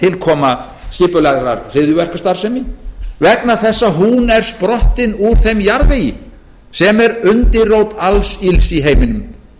tilkoma skipulegrar hryðjuverkastarfsemi vegna þess að hún er sprottin úr þeim jarðvegi sem er undirrót alls ills í heiminum